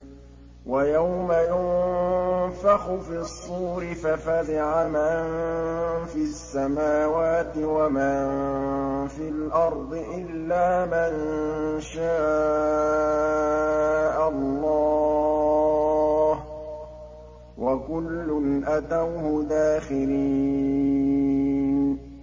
وَيَوْمَ يُنفَخُ فِي الصُّورِ فَفَزِعَ مَن فِي السَّمَاوَاتِ وَمَن فِي الْأَرْضِ إِلَّا مَن شَاءَ اللَّهُ ۚ وَكُلٌّ أَتَوْهُ دَاخِرِينَ